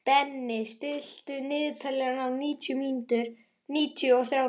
Denni, stilltu niðurteljara á níutíu og þrjár mínútur.